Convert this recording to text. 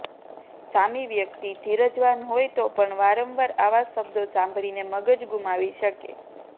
સામી વ્યક્તિ ધીરજવાન હોય તો પણ વારંવાર આવા શબ્દો સાંભળીને મગજ ગુમાવી શકે